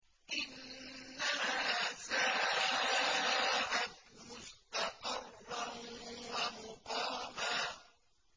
إِنَّهَا سَاءَتْ مُسْتَقَرًّا وَمُقَامًا